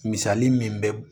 Misali min bɛ